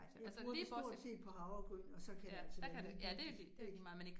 Jeg bruger det stort set på havregryn, og så kan det altså være ligegyldigt, ik